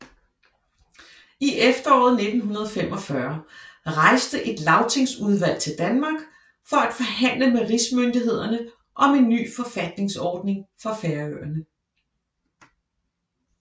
I efteråret 1945 rejste et lagtingsudvalg til Danmark for at forhandle med rigsmyndighederne om en ny forfatningsordning for Færøerne